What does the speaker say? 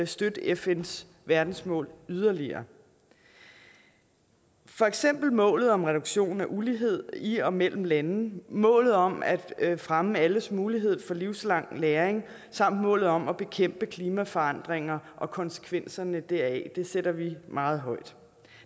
støtte fns verdensmål yderligere for eksempel målet om reduktion af ulighed i og mellem lande målet om at fremme alles mulighed for livslang læring samt målet om at bekæmpe klimaforandringer og konsekvenserne deraf sætter vi meget højt